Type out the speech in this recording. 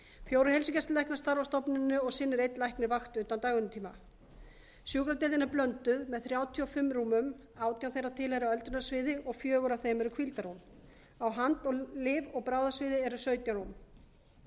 fjórir heilsugæslulæknar starfa á stofnuninni og sinnir einn læknir vakt utan dagvinnutíma sjúkradeildin er blönduð með þrjátíu og fimm rúmum átján þeirra tilheyra öldrunarsviði og fjórir af þeim eru hvíldarrúm á hand lyf og bráðasviði eru sautján rúm á